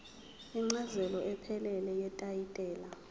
incazelo ephelele yetayitela